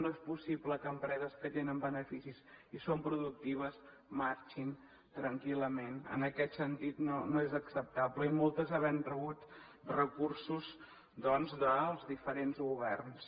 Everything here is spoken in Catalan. no és possible que empreses que tenen beneficis i són productives marxin tranquil·lament en aquest sentit no és acceptable i moltes havent rebut recursos doncs dels diferents governs